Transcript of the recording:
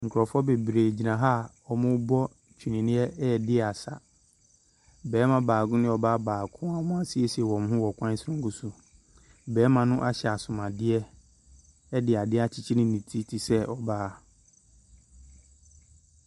Nkurɔfoɔ bebree gyina ha a wɔrebɔ twene redi asa. Barima baako ne ɔbaa baako a wɔasiesie wɔn ho wɔ kwan soronko so. Barima no ahyɛ asomuadeɛ de adeɛ akyekyere ne ti te sɛ ɔbaa.